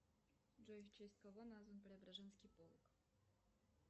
джой в честь кого назван преображенский полк